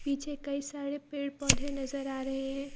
पीछे कई सारे पेड़ पौधे नज़र आ रहे हैं।